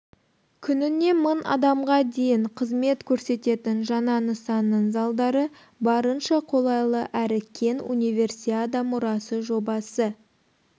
күніне мың адамға дейін қызмет көрсететін жаңа нысанның залдары барынша қолайлы әрі кең универсиада мұрасы жобасы